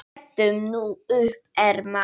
Brettum nú upp ermar.